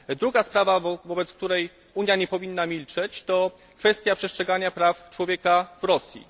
Druga sprawa, wobec której Unia nie powinna milczeć, to kwestia przestrzegania praw człowieka w Rosji.